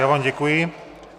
Já vám děkuji.